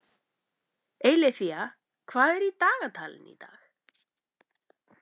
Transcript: Eileiþía, hvað er í dagatalinu í dag?